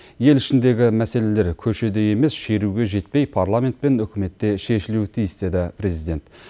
ел ішіндегі мәселелер көшеде емес шеруге жетпей парламент пен үкіметте шешілуі тиіс деді президент